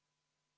Maksta vähem?